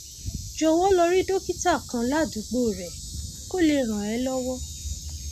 jọwọ lọ rí dókítà kan ládùúgbò rẹ kó lè ràn ẹ lọwọ